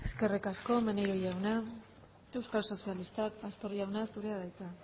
eskerrik asko maneiro jauna euskal sozialistak pastor jauna zurea da hitza